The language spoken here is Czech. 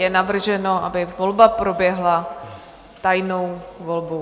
Je navrženo, aby volba proběhla tajnou volbou.